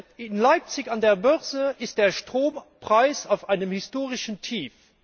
Erstens In Leipzig an der Börse ist der Strompreis auf einem historischen Tief.